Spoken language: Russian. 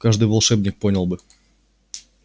каждый волшебник понял бы